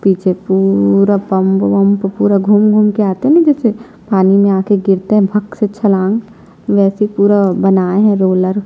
पीछे पूरा पंप वम्प पूरा घूम घूम के आते है न जैसे पानी में आके गिरते भक से छलांग वैसे पूरा बनाये है रोलर --